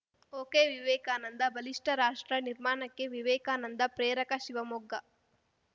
ಒಕೆವಿವೇಕಾನಂದಬಲಿಷ್ಟರಾಷ್ಟ್ರ ನಿರ್ಮಾಣಕ್ಕೆ ವಿವೇಕಾನಂದ ಪ್ರೇರಕ ಶಿವಮೊಗ್ಗ